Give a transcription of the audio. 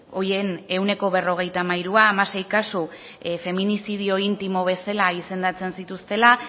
horien ehuneko berrogeita hamairua hamasei kasu feminizidio intimo bezala izendatzen zituztela